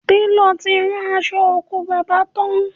Télọ̀ ti rán aṣọ òkú bàbá tán